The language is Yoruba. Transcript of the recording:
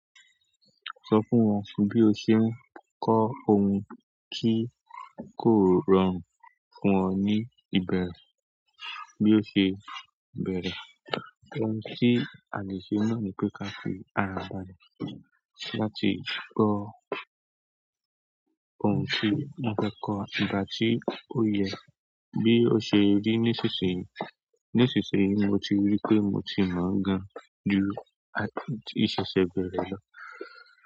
Sọ fún wọn bí o ṣe ń kọ ohun kí kò rọrùn fún ọ ní ìbẹ̀rẹ̀ bí o ṣe bẹ̀rẹ̀. Ohun tí a lè ṣe náà ní pé ká fi àrà bàlẹ̀ láti kọ ohun tí a fẹ́ kọ́wa nígbà tí ó yẹ, bí ó ṣe rí ní ṣíṣe. Ní ṣìsin yìí mo ti rí pé mo ti mọ̀ gan-an ju ìṣẹ̀ṣẹ̀ bẹ̀rẹ̀ lọ.